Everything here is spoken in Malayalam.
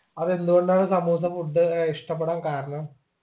അതെന്തു കൊണ്ടാണ് സമൂസ food ഏർ ഇഷ്ടപ്പെടാൻ കാരണം